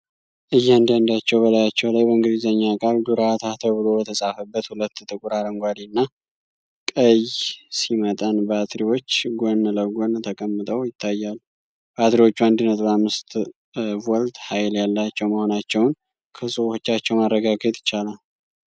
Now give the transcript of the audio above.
እያንዳንዳቸው በላያቸው ላይ "በእንግልዘኛ ቃል ዱራታ" ተብሎ በተጻፈበት፣ ሁለት ጥቁር፣ አረንጓዴ እና ቀይ ሲ መጠን ባትሪዎች ጎን ለጎን ተቀምጠው ይታያሉ። ባትሪዎቹ 1.5V ሃይል ያላቸው መሆናቸውን ከጽሑፎቻቸው ማረጋገጥ ይቻላል።